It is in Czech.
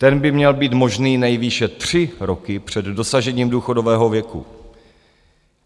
Ten by měl být možný nejvýše tři roky před dosažením důchodového věku.